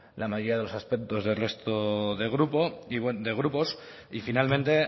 la mayoría de los aspectos del resto de grupos y finalmente